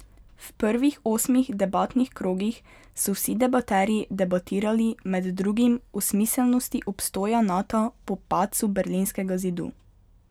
V prvih osmih debatnih krogih so vsi debaterji debatirali med drugim o smiselnosti obstoja Nata po padcu berlinskega zidu.